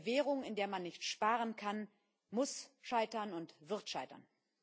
Eine Währung, in der man nicht sparen kann, muss scheitern und wird scheitern.